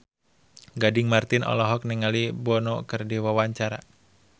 Gading Marten olohok ningali Bono keur diwawancara